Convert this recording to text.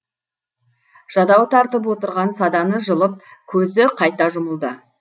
жадау тартып отырған саданы жылып көзі қайта жұмылды